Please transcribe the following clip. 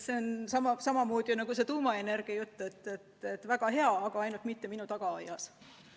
See on nagu see tuumaenergia jutt: väga hea, aga ainult mitte minu tagaaias.